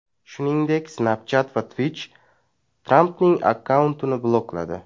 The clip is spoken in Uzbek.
Shuningdek, Snapchat va Twitch Trampning akkauntini blokladi .